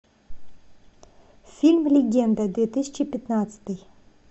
фильм легенда две тысячи пятнадцатый